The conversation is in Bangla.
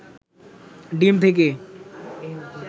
ডিম থেকে